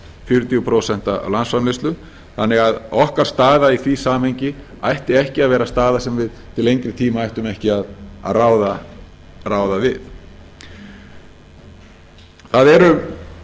fjörutíu prósent af landsframleiðslu þannig að okkar staða í því samhengi ætti ekki að vera staða sem við til lengri tíma ættum ekki að ráða við það eru